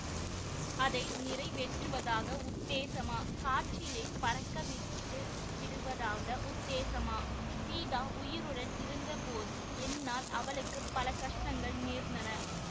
அதை நிறை வேற்றுவதாக உத்தேசமா காற்றிலே பறக்க விட்டு விடுவதாக உத்தேசமா சீதா உயிருடன் இருந்தபோது என்னால் அவளுக்கு பல கஷ்டங்கள் நேர்ந்தன